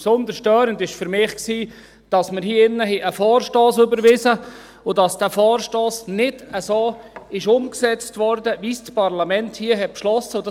Besonders störend war für mich, dass wir hier einen Vorstoss überwiesen haben und dass dieser Vorstoss nicht so umgesetzt wurde, wie es das Parlament hier beschlossen hat.